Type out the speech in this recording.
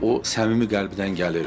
O səmimi qəlbdən gəlirdi.